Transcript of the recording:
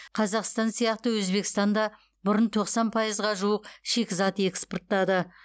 қазақстан сияқты өзбекстан да бұрын тоқсан пайызға жуық шикізат экспорттады